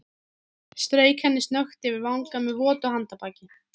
Strauk henni snöggt yfir vanga með votu handarbaki.